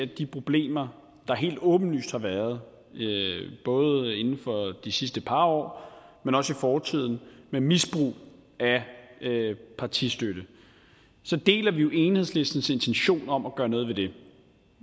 de problemer der helt åbenlyst har været både inden for de sidste par år men også i fortiden med misbrug af partistøtte så deler vi jo enhedslistens intentioner om at gøre noget ved det